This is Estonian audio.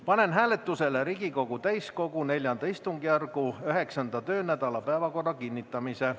Panen hääletusele Riigikogu täiskogu neljanda istungjärgu üheksanda töönädala päevakorra kinnitamise.